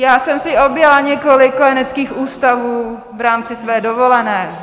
Já jsem si objela několik kojeneckých ústavů v rámci své dovolené.